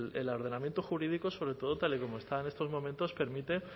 el ordenamiento jurídico sobre todo tal y como está en estos momentos permite